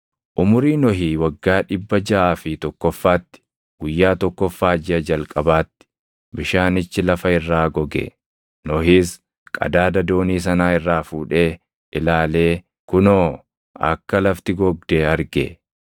Umurii Nohii waggaa dhibba jaʼaa fi tokkoffaatti, guyyaa tokkoffaa jiʼa jalqabaatti, bishaanichi lafa irraa goge. Nohis qadaada doonii sanaa irraa fuudhee ilaalee kunoo akka lafti gogde arge.